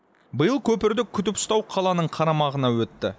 биыл көпірді күтіп ұстау қаланың қарамағына өтті